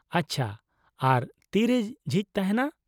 -ᱟᱪᱪᱷᱟ, ᱟᱨ ᱛᱤᱨᱮ ᱡᱷᱤᱡ ᱛᱟᱦᱮᱸᱱᱟ ?